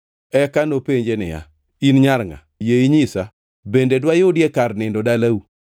Eka nopenje niya, “In nyar ngʼa? Yie inyisa bende dwayudie kar nindo dalau?”